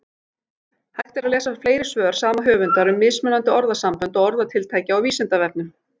Hægt er að lesa fleiri svör sama höfundar um mismunandi orðasambönd og orðatiltæki á Vísindavefnum.